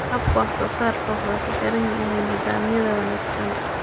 Habka waxsoosaarka wuxuu ku xiran yahay nidhaamya wanaagsan.